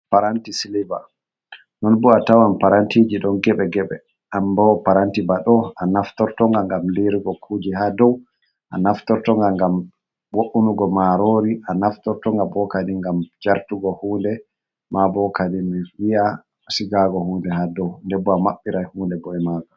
Paranti silb non bo a tawan parantiji don gebe gebe, anbo paranti baɗo a naftorto nga ngam lirugo kuje ha dow, a naftorto nga ngam wo’unugo marori, a naftorto nga bokadi ngam jartugo hunde, mabo kadi mi wi'a sigago hunde ha dou, denbo a maɓɓirai hunde bo'e maka.